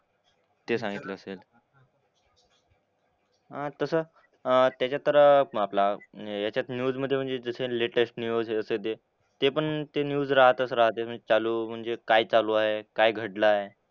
ते सांगितलं असेल. हां तसं अह त्याच्यात तर आपला ह्याच्यात न्यूजमधे म्हणजे जसं लेटेस्ट न्यूज असेल ते ते पण ते न्यूज राहतंच राहते म्हणजे चालू म्हणजे काय चालू आहे, काय घडलंय.